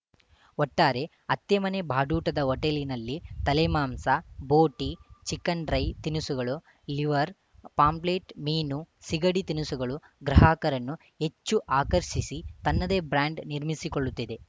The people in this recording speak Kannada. ಒಟ್ಟಾರೆ ಅತ್ತೆಮನೆ ಬಾಡೂಟದ ಹೊಟೇಲಿನಲ್ಲಿ ತಲೆಮಾಂಸ ಬೋಟಿ ಚಿಕ್ಕನ್‌ ಡ್ರೈ ತಿನಿಸುಗಳು ಲಿವರ್‌ ಪಾಂಪ್ಲೇಟ್‌ ಮೀನು ಸಿಗಡಿ ತಿನಿಸುಗಳು ಗ್ರಾಹಕರನ್ನು ಹೆಚ್ಚು ಆಕರ್ಷಿಸಿ ತನ್ನದೇ ಬ್ರಾಂಡ್‌ ನಿರ್ಮಿಸಿಕೊಳ್ಳುತ್ತಿದೆ